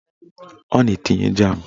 Ọ na-etinye jam